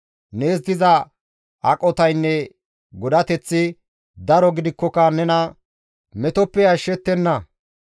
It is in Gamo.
Nees diza aqotaynne godateththi daro gidikkoka nena metoppe ashshettenna.